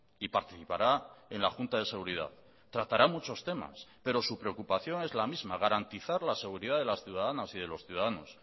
y participará en la junta de seguridad tratará muchos temas pero su preocupación es la misma garantizar la seguridad de las ciudadanas y de los ciudadanos